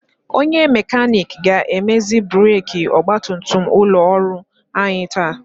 Onye mekanik ga-emezi breki ọgbatumtum ụlọ ọrụ anyị taa.